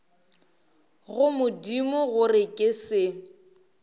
go modimo gore ke se